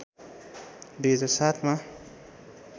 २००७ मा